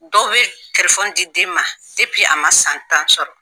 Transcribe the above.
Dɔw be di den ma a ma san tan sɔrɔ